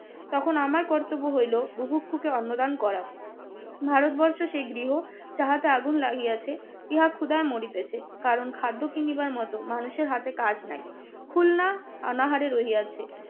তখন আমার কর্তব্য হইল বুভুক্ষকে অন্ন দান করা। ভারতবর্ষে সে গৃহ চাহাতে আগুন লাগিয়েছে, ইহা ক্ষুধায় মরিতেছে। কারণ খাদ্য কিনিবার মতো মানুষের হাতে কাজ নাই। খুলনা অনাহারে রহিয়াছে।